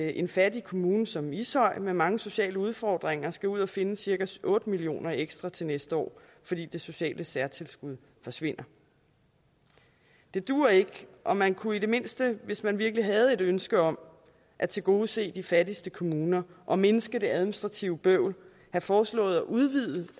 en fattig kommune som ishøj med mange sociale udfordringer skal ud og finde cirka otte million kroner ekstra til næste år fordi det sociale særtilskud forsvinder det duer ikke og man kunne i det mindste hvis man virkelig havde et ønske om at tilgodese de fattigste kommuner og mindske det administrative bøvl have foreslået at udvide